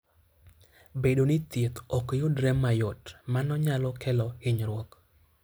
Bedo ni thieth ok yudre mayot, mano nyalo kelo hinyruok.